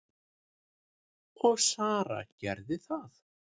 Og Sara gerði það.